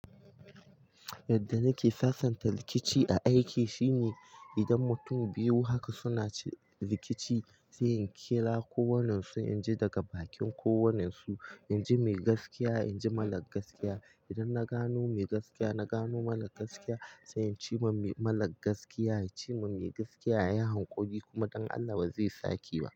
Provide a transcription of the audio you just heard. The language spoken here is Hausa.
Yadda nake sasanta rikici a aiki shine idan mutum biyu haka suna rikici sai in kira kowannensu, in ji daga bakin kowannensu, in ji mai gaskiya, in ji mara gaskiya. Idan na gano mai gaskiya, na gano mara gaskiya, sai in ce ma mara gaskiya ya ce ma mai gaskiya ya yi hakuri kuma don Allah ba zai sake ba.